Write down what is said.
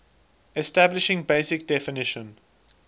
establishing basic definition